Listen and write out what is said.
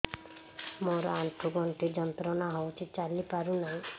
ମୋରୋ ଆଣ୍ଠୁଗଣ୍ଠି ଯନ୍ତ୍ରଣା ହଉଚି ଚାଲିପାରୁନାହିଁ